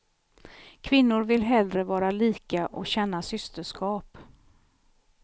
Kvinnor vill hellre vara lika och känna systerskap.